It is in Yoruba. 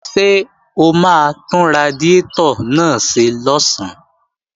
Ṣé o máa tún radiátọ̀ náà ṣe lọ̀sán?